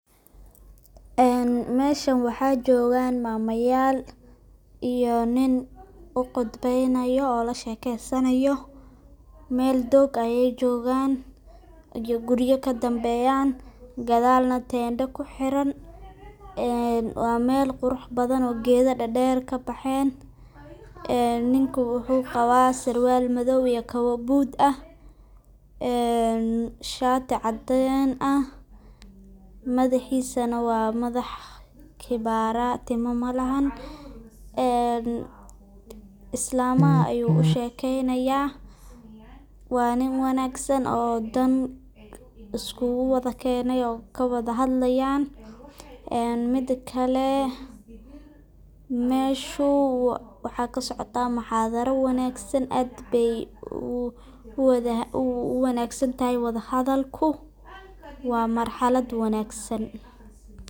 En meshan waxa jogan mamayal iyo nin uqudbeynayo oo lashekesanayo, mel doog ah ayay jogan, guriyo kadambeyan gasdhal nah tendo kuxiran, wa mel quraxbadan oo geda derder kabexen, ninku wuxu qaba sarwal madow, iyo kabo buud ah en shati cadeen ah, madaxisa nah waa madax kipara tima malahan, islamaha ayu ushekeynaya waa nin wanagsan oo dan iskugu wadakene oo kawada hahadlayan, midi kale meshu maxa kasocota muxadara wanagsan , ad bay uwanagsantahy wadahadhalku wa marxalad wanagsan.